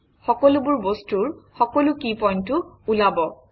সকলোবোৰ বস্তুৰ সকলো কি পইণ্টও ওলাব